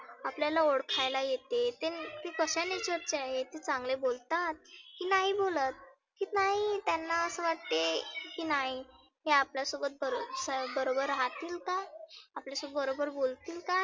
आपल्याला ओळखायला येते. ते नुस्त चांगले बोलतात की नाही बोलत. की नाही त्यांना असे वाटते की नाही, हे आपल्या सोबत बरो बरोबर राहतील का? आपल्या सोबत बरोबर बोलतील का?